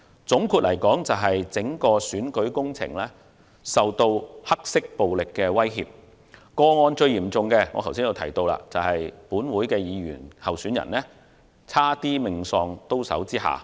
總括來說，整個選舉工程遭受黑色暴力的威脅，其中最嚴重的個案是有屬本會議員的區選候選人險些命喪刀手之下。